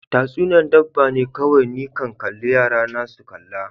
Tatsuniya'n dabba ne kowai ni kan kalle Yara na su kalla.